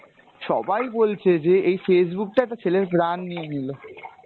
সবাই বলছে যে এই Facebook টা একটা ছেলের প্রান নিয়ে নিলো।